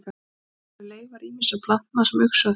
í honum eru leifar ýmissa plantna sem uxu á því skeiði